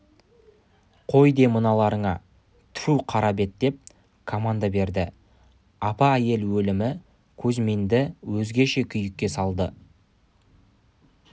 қой де мыналарыңа тіфу қарабет ат деп команда берді апа әйел өлімі кузьминді өзгеше күйікке салды